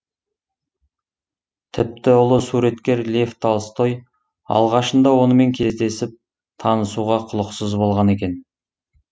тіпті ұлы суреткер лев толстой алғашында онымен кездесіп танысуға құлықсыз болған екен